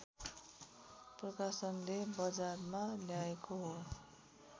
प्रकाशनले बजारमा ल्याएको हो